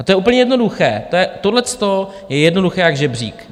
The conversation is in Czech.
A to je úplně jednoduché, tohleto je jednoduché jak žebřík.